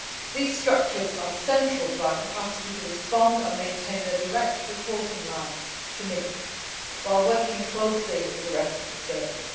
These structures are central to our capacity to respond, and maintain their direct reporting line to me while working closely with the rest of the service.